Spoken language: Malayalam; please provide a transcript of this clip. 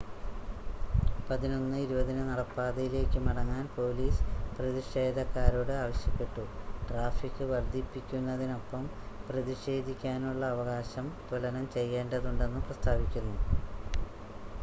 11:20 ന് നടപ്പാതയിലേക്ക് മടങ്ങാൻ പോലീസ് പ്രതിഷേധക്കാരോട് ആവശ്യപ്പെട്ടു ട്രാഫിക് വർദ്ധിപ്പിക്കുന്നതിനൊപ്പം പ്രതിഷേധിക്കാനുള്ള അവകാശം തുലനം ചെയ്യേണ്ടതുണ്ടെന്ന് പ്രസ്താവിക്കുന്നു